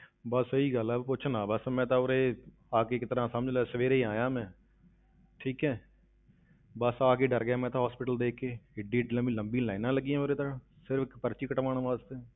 ਬਸ ਸਹੀ ਗੱਲ ਹੈ, ਪੁੱਛ ਨਾ ਬਸ ਮੈਂ ਤਾਂ ਉਰੇ ਆ ਕੇ ਇੱਕ ਤਰ੍ਹਾਂ ਸਮਝ ਲਾ ਸਵੇਰੇ ਹੀ ਆਇਆਂ ਮੈਂ ਠੀਕ ਹੈ ਬਸ ਆ ਕੇ ਡਰ ਗਿਆ ਮੈਂ ਤਾਂ hospital ਦੇਖ ਕੇ, ਇੱਡੀ ਇੱਡੀ ਲੰਬੀ ਲੰਬੀ lines ਲੱਗੀਆਂ ਉਰੇ ਤਾਂ, ਸਿਰਫ਼ ਇੱਕ ਪਰਚੀ ਕਟਵਾਉਣ ਵਾਸਤੇ।